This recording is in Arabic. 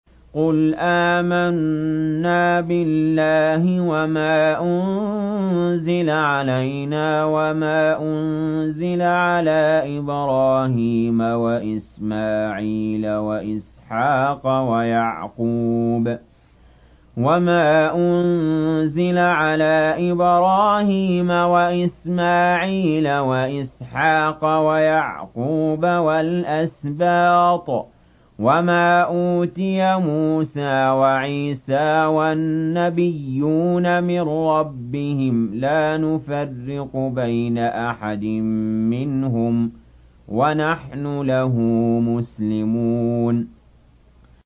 قُلْ آمَنَّا بِاللَّهِ وَمَا أُنزِلَ عَلَيْنَا وَمَا أُنزِلَ عَلَىٰ إِبْرَاهِيمَ وَإِسْمَاعِيلَ وَإِسْحَاقَ وَيَعْقُوبَ وَالْأَسْبَاطِ وَمَا أُوتِيَ مُوسَىٰ وَعِيسَىٰ وَالنَّبِيُّونَ مِن رَّبِّهِمْ لَا نُفَرِّقُ بَيْنَ أَحَدٍ مِّنْهُمْ وَنَحْنُ لَهُ مُسْلِمُونَ